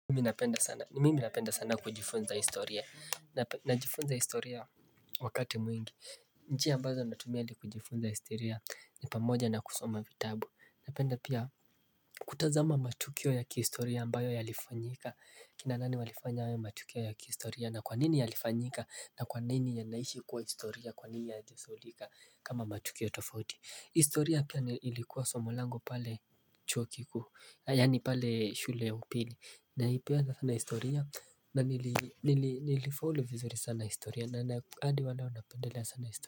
Mimi ninapenda sana kujifunza historia. Najifunza istoria wakati mwingi. Njia ambazo natumia ili kujifunza historia ni pamoja na kusoma vitabu. Napenda pia kutazama matukio ya historia ambayo yalifanyika. Kina nani walifanya hayo matukio ya historia na kwanini yalifanyika na kwanini yanaishi kuwa historia kwanini hayata sahulika kama matukio tofauti. Historia pia ni ilikuwa somo langu pale chuo kikuu. Yaani pale shule upili. Na pia na historia na nili nili nilifollow vizuri sana historia na hadi wana wanapendelea sana historia.